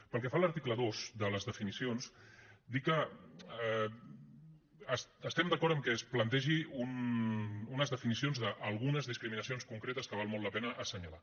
pel que fa a l’article dos de les definicions dir que estem d’acord amb que es plantegin unes definicions d’algunes discriminacions concretes que val molt la pena assenyalar